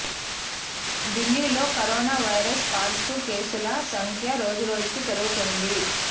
ఢిల్లీ లో corona virus positive కేసుల సంఖ్య రోజురోజుకీ పెరుగుతోంది